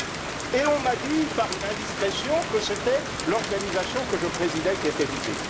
Mais on m'a dit par une indiscrétion que c'était l'organisation que je présidais qui était visée.